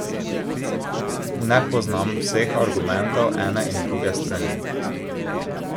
Ne poznam vseh argumentov ene in druge strani.